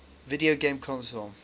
video game console